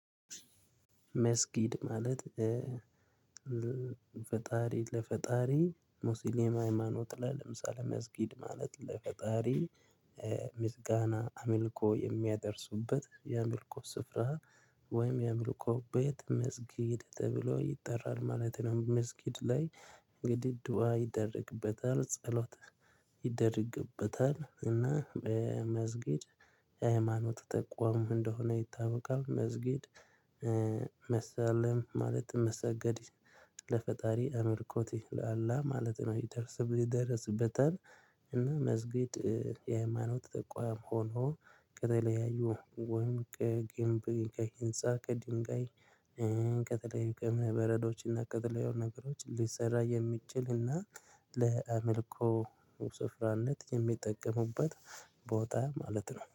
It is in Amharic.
መስጊድ ማለት። ፈጣሪ ለፈጣሪ ሙስሊም ሃይማኖት ላይ ለምሳሌ መስጊድ ማለት ለፈጣሪ ምስጋና አምልኮ የሚያደርሱበት የአምልኮ ስፍራ። ወይም የአምልኮ ቤት መስጊድ ተብሎ ይጠራል ማለት ነው። መስጊድ ላይ እንግዲህ ድዋ ይደረግበታል ጸሎት ይደረግበታል። እና መስጊድ የሃይማኖት ተቋም እንደሆነ ይታወቃል። መስጊድ መሰላም ማለት መሰገድ። ለፈጣሪ አምልኮት ለአላ ማለት ነው ይደሰበት ይደረስበታል። እና መስጊድ የሃይማኖት ተቋም ሆኖ ከተለያዩ ወንቅ ግንብ ከህንፃ ከድንጋይ ከተለያዩ ከእምነበረዶች እና ከተለያዩ ነገሮች ሊሰራ የሚችል እና ለአምልኮ ስፍራነት የሚጠቀሙበት ቦታ ማለት ነው